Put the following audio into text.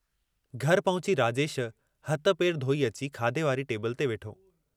घर पहुची राजेश, हथ पेर धोई अची, खाधे वारी टेबल ते वेठो।